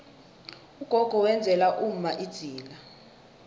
ugogo wenzela umma idzila